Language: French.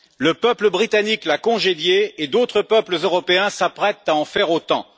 Le peuple britannique l'a congédiée et d'autres peuples européens s'apprêtent à en faire autant.